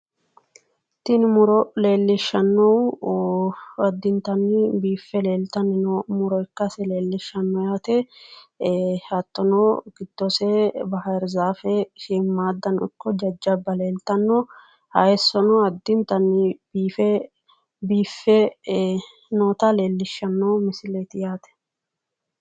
Tini muro leellishshannohu addintanni biiffe leeltanni no muro ikkase leellishshanno yaate hattono giddose baahirzaafe shiimaddanno ikko jajjabba leeltanno haayissono addintanni biiffe noota leellishshanno misileeti.